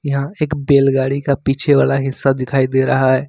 यह एक बैलगाड़ी का पीछे वाला हिस्सा दिखाई दे रहा है।